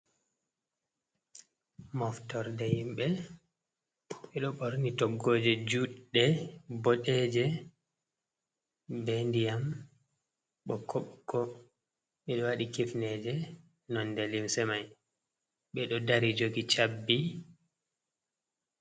Moftorde himɓe, ɓe ɗo ɓorni toggooje juɗɗe, boɗeeje, be ndiyam ɓokko ɓokko, ɓe ɗo waɗi kifneeje nonde limse mai, ɓe ɗo dari jogi chabbi.